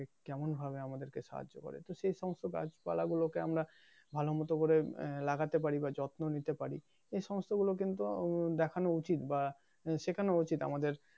কেমন ভাবে আমাদেরকে সাহায্য করে তো সেসমস্ত গাছপালা গুলোকে আমরা ভালো মত করে লাগাতে পারি বা যত্ন নিতে পারি সে সমস্ত গুলো কিন্তু দেখানো উচিত বা শেখানো উচিত আমাদের